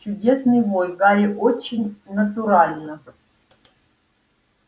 чудесный вой гарри очень натурально